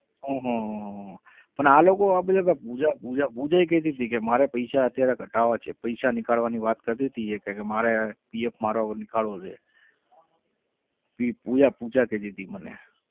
હમ હમ હમ હમ પણ આ લોકો આ બધા પુજા પુજા પુજા કહેતી હતી કે મારે પૈસા અત્યારે કઢાવા છે પૈસા નીકળવાની વાત કરતી હતી એ કહે કે મારે PF મારો હવે નીકળવો છે. પુજા પુજા કહેતી હતી મને.